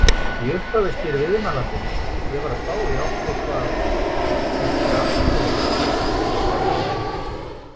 Í upphafi spyr viðmælandinn: Ég var að spá í áttu eitthvað eitt gramm eða eitthvað?